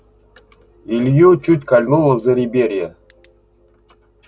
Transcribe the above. илью чуть кольнуло в зареберье